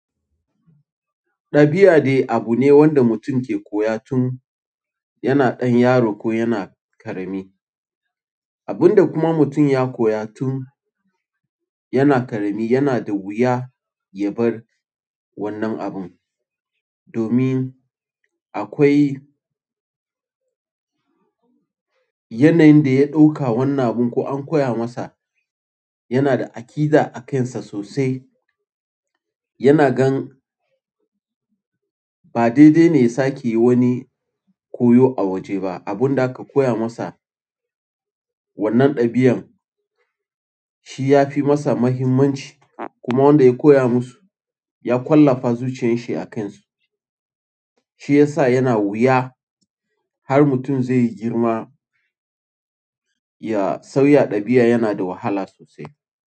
Ɗabi'a dai abu ne wanda mutum ke koya tun yana ɗan yaro ko yana ƙarami. Abun da kuma mutum ya koya tun yana ƙarami yana da wuya ya bar wannan abun. Domin akwai yanayin da ya ɗauka wannan abun ko an koya masa yana da aƙida a kansa sosai. Yana gan ba daidai ne ya sake yi wani koyo a waje ba. Abun da aka koya masa, wannan ɗabi'an shi ya fi masa muhimmanci kuma wanda ya koya musu ya ƙwallafa zuciyarshi a kansu. Shi ya sa yana wuya har mutum zai girma. Sauya ɗabi'a yana da wahala sosai.